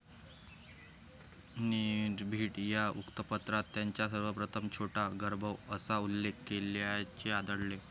निर्भीड या वृत्तपत्रात त्यांचा सर्वप्रथम छोटा गंधर्व असा उल्लेख केल्याचे आढलते.